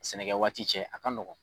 Sɛnɛkɛɛ waati cɛ , a ka nɔgɔn.